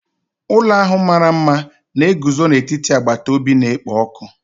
Ụlọ ahụ mara mma na-eguzo n'etiti agbata obi na-ekpo ọkụ.